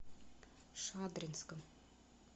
шадринском